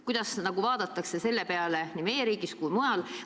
Kuidas vaadatakse selle peale nii meie riigis kui ka mujal?